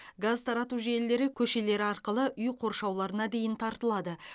газ тарату желілері көшелер арқылы үй қоршауларына дейін тартылады